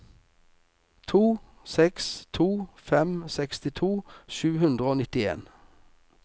to seks to fem sekstito sju hundre og nittien